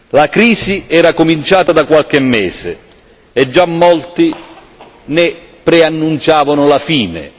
La crisi era cominciata da qualche mese e già molti ne preannunciavano la fine.